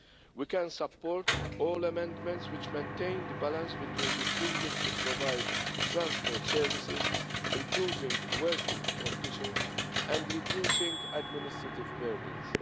We can support all amendments which maintain the balance between the freedom to provide transport services, improve working conditions and reduce administrative burdens.